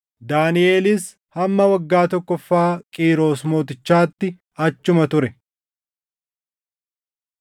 Daaniʼelis hamma waggaa tokkoffaa Qiiros mootichaatti achuma ture.